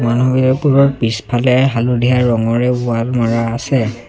পিছফালে হালধীয়া ৰঙৰে ৱাল মৰা আছে।